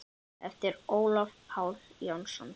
eftir Ólaf Pál Jónsson